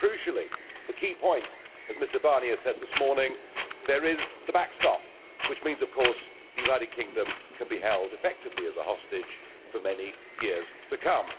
And crucially, the key point, as Mr Barnier said this morning there is the backstop, which means of course the United Kingdom can be held effectively as a hostage for many years to come.